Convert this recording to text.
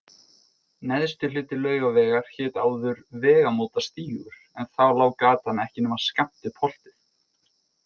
Neðsti hluti Laugavegar hét áður Vegamótastígur en þá lá gatan ekki nema skammt upp holtið.